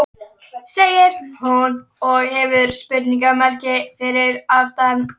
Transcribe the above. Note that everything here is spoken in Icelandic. segir hún, og hefur spurningarmerki fyrir aftan.